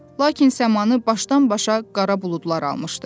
Lakin səmanı başdan-başa qara buludlar almışdı.